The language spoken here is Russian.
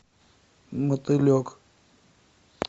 мотылек